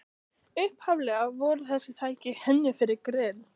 Upphaflega voru þessi tæki hönnuð fyrir grill